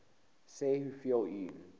sê hoeveel u